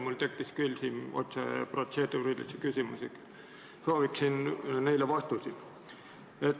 Mul tekkis kohe mitu protseduurilist küsimust ja soovin neile vastuseid.